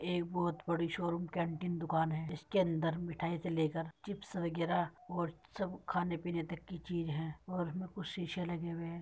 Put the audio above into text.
एक बहुत बड़ी शोरूम कैंटीन दुकान है इसके अंदर मिठाई से लेकर चिप्स वगैरा और सब खाने -पीने तक की चीज है और कुछ शीशे लगे हुए हैं।